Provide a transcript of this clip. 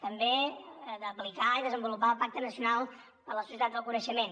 també aplicar i desenvolupar el pacte nacional per a la societat del coneixement